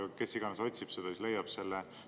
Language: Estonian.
Aga kes iganes otsib, siis leiab selle.